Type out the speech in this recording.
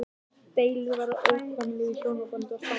Deilur verða óhjákvæmilega í hjónabandi og sambúð.